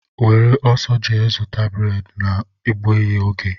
Were ọsọ jee zụta breedi na-egbughi ógè!!!!!